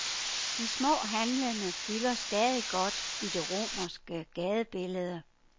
De små handlende fylder stadig godt i det romerske gadebillede.